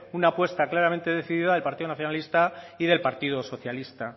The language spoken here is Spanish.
una apuesta claramente decidida al partido nacionalista y del partido socialista